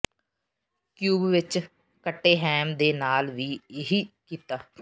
cube ਵਿੱਚ ਕੱਟੇ ham ਦੇ ਨਾਲ ਵੀ ਇਹੀ ਕੀਤਾ